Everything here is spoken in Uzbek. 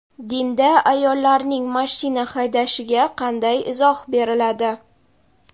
Dinda ayollarning mashina haydashiga qanday izoh beriladi?.